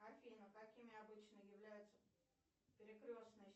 афина какими обычно являются перекрестные